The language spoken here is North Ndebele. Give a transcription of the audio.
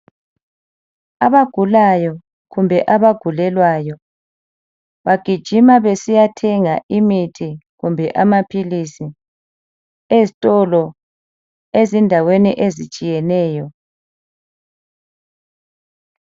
Abagulayo kumbe abagulelwayo bagijima besiyathenga imithi kumbe amaphilisi ezitolo ezindaweni ezitshiyeneyo.